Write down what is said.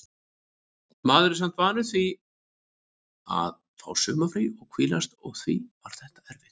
Maður er samt vanur því að fá sumarfrí og hvílast og því var þetta erfitt.